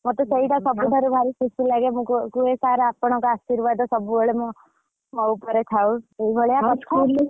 ମତେ ସେଇଟା ସବୁଠାରୁ ଭାରି ଖୁସି ଲାଗେ ମୁ କୁହେ sir ଆପଣଙ୍କ ଅଶିର୍ବାଦ ସବୁବେଳେ ମୋ ଉପରେ ଥାଉ ଏଇ ଭଳିଆ କଥା ।